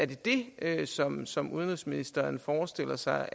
det det som som udenrigsministeren forestiller sig